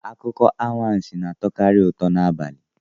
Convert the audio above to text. Akụkọ anwansi na-atọkarị ụtọ n'abalị